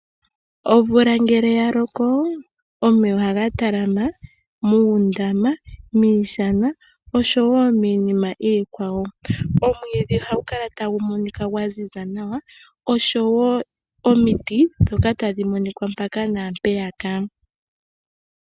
Omvula ngele ya loko omeya ohaga talama muundama, miishana noshowo miinima iikwawo. Omwiidhi ohagu kala tagu monika gwa ziza nawa, oshowo omiti ndhoka tadhi monika mpaka naampeyaka.